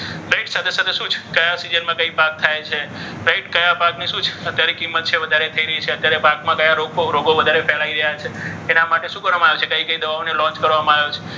right સાથે સાથે શું છે? કયા કયા સિઝનમાં કયો પાક થાય છે? right કયા પાકને શું છે? ત્યારે કિંમત વધારે તેની વિશે અત્યારે પાકમાં રોગો કયા વધારે ફેલાય છે. તેના વિશે એના માટે શું કરવામાં આવે છે? કઈ દવાઓને launch કરવામાં આવે છે? right